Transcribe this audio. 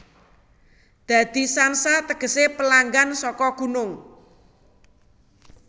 Dadi Shanha tegese pelanggan saka gunung